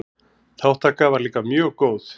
Þátttaka var líka mjög góð.